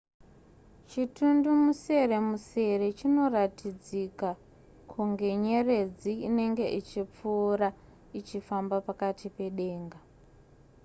chitundumuseremusere chinoratidzika kunge nyeredzi inenge ichipfuura ichifamba pakati pedenga